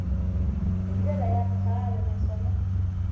hi ndlela ya kahle naswona